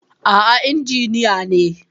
A'a injiniya ne.